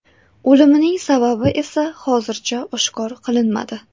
O‘limining sababi esa hozircha oshkor qilinmadi.